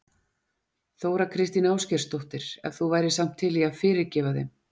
Þóra Kristín Ásgeirsdóttir: En þú værir samt til í að fyrirgefa þeim?